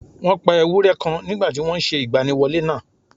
Wọ́n pa ewúrẹ́ kan nígbà tí wọ́n n se ìgbaniwọlé nàà